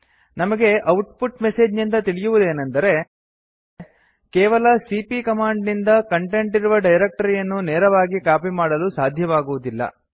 ನಮಗೆ output message ನಿಂದ ತಿಳಿಯುವುದೇನೆಂದರೆ ಕೇವಲ ಸಿಪಿಯ ಕಮಾಂಡ್ ನಿಂದ ಕಂಟೆಂಟ್ ಇರುವ ಡೈರಕ್ಟರಿಯನ್ನು ನೇರವಾಗಿ ಕಾಪಿ ಮಾಡಲು ಸಾಧ್ಯವಾಗುವುದಿಲ್ಲ